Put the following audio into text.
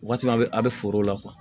Waati min na a bɛ a bɛ foro la